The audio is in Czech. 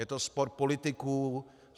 Je to spor politiků.